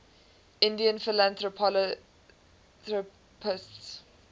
indian philanthropists